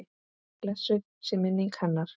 Blessuð sé minning hennar.